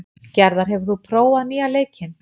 Gerðar, hefur þú prófað nýja leikinn?